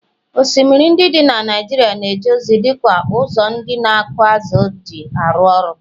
osimiri ndị dị na Naijiria na-eje ozi dị ka ụzọ ndị na-akụ azụ̀ ji arụ ọrụ